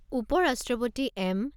উপ ৰাষ্ট্ৰপতি এম.